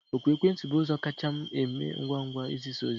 Oku ekwentị bụ ụzọ kacha eme ngwa ngwa n'izisa ozi